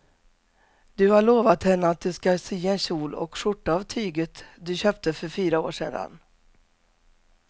Du har lovat henne att du ska sy en kjol och skjorta av tyget du köpte för fyra år sedan.